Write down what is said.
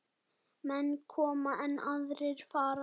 Menn koma, en aðrir fara.